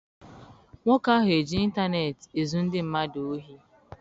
Nwoke ahụ eji intaneeti ezu ndị mmadụ ohi?